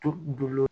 To dulon